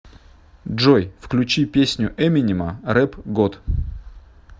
джой включи песню эминема рэп год